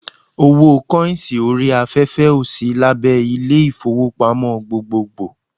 Owó kọ́ìnsì orí afẹ́fẹ́ ò sí abé Ilé-ìfowópamọ́ gbogbogbò